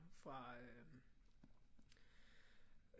Fra øh